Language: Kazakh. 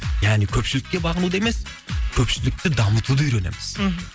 яғни көпшілікке бағынуды емес көпшілікті дамытуды үйренеміз мхм